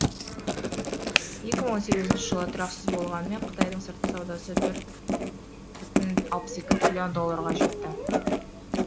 екі мың он сегізінші жыл тұрақсыз болғанымен қытайдың сыртқы саудасы төрт бүтін алпыс екі трлн долларға жетті